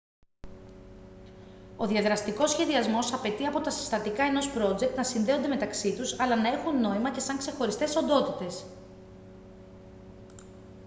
ο διαδραστικός σχεδιασμός απαιτεί από τα συστατικά ενός πρότζεκτ να συνδέονται μεταξύ τους αλλά να έχουν νόημα και σαν ξεχωριστές οντότητες